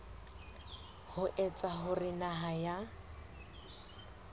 ho etsa hore naha ya